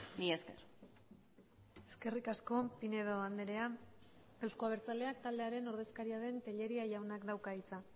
mila esker eskerrik asko pinedo andrea euzko abertzaleak taldearen ordezkaria den telleria jaunak dauka hitza